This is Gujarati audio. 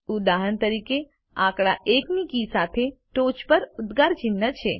ઉદાહરણ તરીકે આંકડા 1 ની કી સાથે ટોચ પર ઉદ્ગાર ચિહ્ન છે